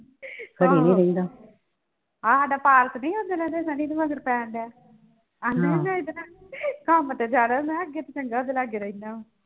ਆਹੋ ਆਹ ਹਾਡਾ ਪਾਰਸ ਨਹੀਂ ਉੱਦਣ ਸਨੀ ਦੇ ਮਗਰ ਪੈਣ ਦਿਆ ਆਂਦਾ ਹੀ ਮੈਂ ਇਹਦੇ ਨਾਲ ਕੰਮ ਤੇ ਜਾਣਾ ਮੈਂ ਹੈ ਅੱਗੇ ਤੇ ਚੰਗਾ